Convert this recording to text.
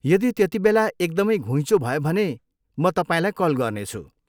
यदि त्यतिबेला एकदमै घुइँचो भयो भने, म तपाईँलाई कल गर्नेछु।